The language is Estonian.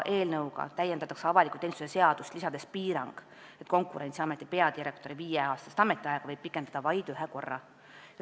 Eelnõuga täiendatakse avaliku teenistuse seadust, lisades sinna piirangu, et Konkurentsiameti peadirektori viieaastast ametiaega võib pikendada vaid ühe korra.